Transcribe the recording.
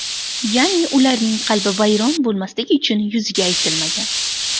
Ya’ni ularning qalbi vayron bo‘lmasligi uchun yuziga aytilmagan.